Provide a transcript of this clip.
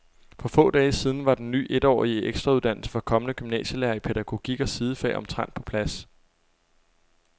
For få dage siden var den ny etårige ekstrauddannelse for kommende gymnasielærere i pædagogik og sidefag omtrent på plads.